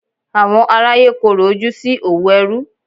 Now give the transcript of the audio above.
Àwọn aráyé korò ojú sí òwò ẹrú.